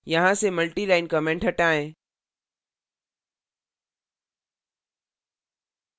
यहाँ से multi line comments हटाएं